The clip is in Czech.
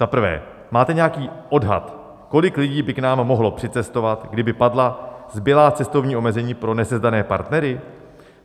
Za prvé - máte nějaký odhad, kolik lidí by k nám mohlo přicestovat, kdyby padla zbylá cestovní omezení pro nesezdané partnery?